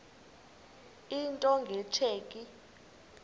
into nge tsheki